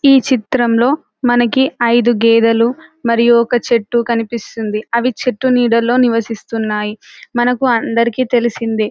ఈ చిత్రంలో మనకి ఐదు గేదలు మరియు ఒక చెట్టు కనిపిస్తుంది అవి చెట్టు నీడలో నివసిస్తున్నాయి మనకు అందరికీ తెలిసిందే --